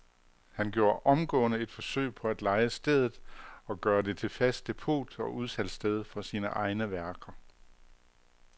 Han gjorde omgående et forsøg på at leje stedet og gøre det til fast depot og udsalgssted for sine egne værker.